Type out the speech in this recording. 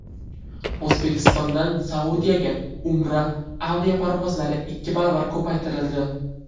O‘zbekistondan Saudiyaga Umra aviaparvozlari ikki baravar ko‘paytirildi.